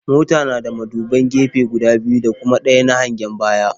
Mota na da muduban gefe guda biyu da kuma ɗaya na hangen baya.